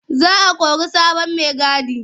Za o kori sabon maigadi.